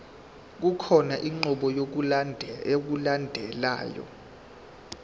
kukhona inqubo yokulandelayo